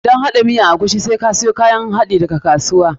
Don haɗa miyan agushi, dole sai da farko ka siyo kayan haɗinka daga kasuwa.